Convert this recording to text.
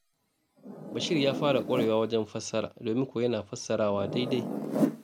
Bashir ya fara ƙwarewa a wajen fassara, domin kuwa yana fassarawa daidai.